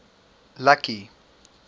lucky